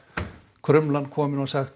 krumlan komin og sagt